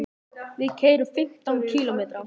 Við keyrum fimmtán kílómetra.